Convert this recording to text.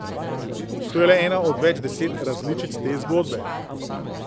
To je le ena od več deset različic te zgodbe.